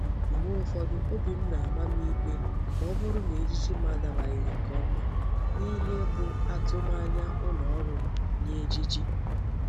Mgbe ufodu obi m na-ama m ikpe ma o buru na ejiji m adabaghi nke oma n'ihe bu atumanya uloru m nye iji ejiji.